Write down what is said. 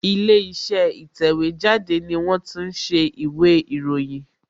Ilé iṣẹ́ ìtẹ̀wẹ́ jáde ni wón ti ń ṣe ìwé ìròyìn